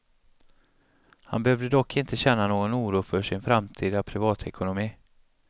Han behövde dock inte känna någon oro för sin framtida privatekonomi.